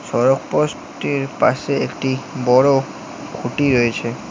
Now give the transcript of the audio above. সড়ক পোস্টটির পাশে একটি বড়ো খুঁটি রইছে ।